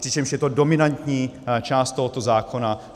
Přičemž je to dominantní část tohoto zákona.